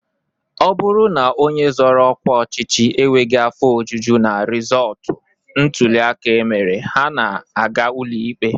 Ọ bụrụ na onye zoro ọkwa ọchịchị enweghị afọ ojuju na rịzọọtụ ntụliaka e mere, ha na-aga ụlọikpe